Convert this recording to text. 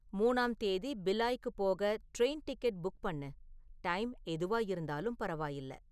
மூணாம் தேதி பிலாய்க்குப் போக ட்ரெயின் டிக்கெட் புக் பண்ணு. டைம் எதுவா இருந்தாலும் பரவாயில்ல